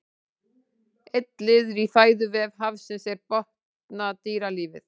einn liður í fæðuvef hafsins er botndýralífið